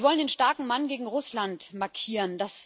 Sie wollen den starken Mann gegen Russland markieren.